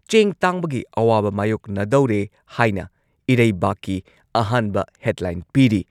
ꯆꯦꯡ ꯇꯥꯡꯕꯒꯤ ꯑꯋꯥꯕ ꯃꯥꯏꯌꯣꯛꯅꯗꯧꯔꯦ ꯍꯥꯏꯅ ꯏꯔꯩꯕꯥꯛꯀꯤ ꯑꯍꯥꯟꯕ ꯍꯦꯗꯂꯥꯏꯟ ꯄꯤꯔꯤ꯫